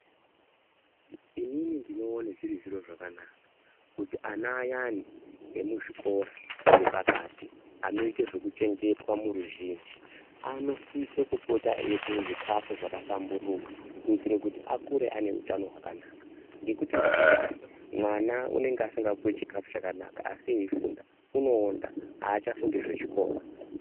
Inini ndinoona zviri zviro zvakanaka, kuti ana ayani emuzvikora zvepakati, anoyita zvekuchengetwa muruzhinji, anosisa kupota eyipuwa zvikafu zvakahlamburuka, kuyitire kuti akure ane utano hwakanaka, ngekuti ngatimbodayi ,mwana unenge asingapuwi chikafu chakanaka asi eyifunda ,unowonda achafungi zvechikora.